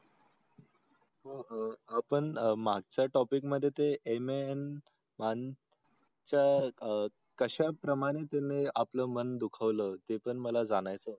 हो हो आपण मागचा topic मध्ये ते मी MAN मान चा अह कशा प्रमाणे तुम्ही आपलं मन दुखाव लं ते पण मला जाणायच होत होतं.